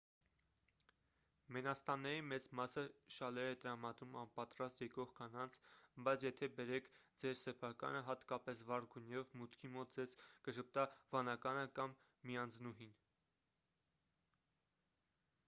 մենաստանների մեծ մասը շալեր է տրամադրում անպատրաստ եկող կանանց բայց եթե բերեք ձեր սեփականը հատկապես վառ գույներով մուտքի մոտ ձեզ կժպտա վանականը կամ միանձնուհին